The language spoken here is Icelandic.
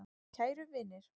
Kæru vinir.